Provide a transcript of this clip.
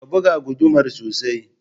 Ka buga gudumar sosai